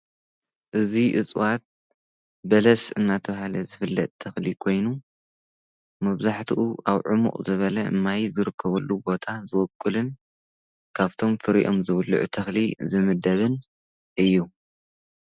እዙይ እፅዋት በለስ እናተውሃለ ዝፍለእ ተኽሊ ኮይኑ መብዛሕትኡ ኣብ ዕሙቕ ዘበለ እማይ ዘርከበሉ ቦታ ዝወቅልን ካብቶም ፍሪኦም ዝውልዑ ተኽሊ ዝምደብን እዩ።